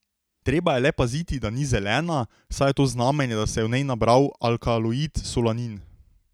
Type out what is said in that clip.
Treba je le paziti, da ni zelena, saj je to znamenje, da se je v njej nabral alkaloid solanin.